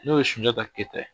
N'o ye Sunjata Keyita ye